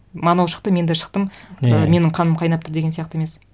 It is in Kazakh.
анау шықты мен де шықтым иә менің қаным қайнап тұр деген сияқты емес